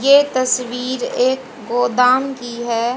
ये तस्वीर एक गोदाम की है।